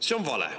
See on vale.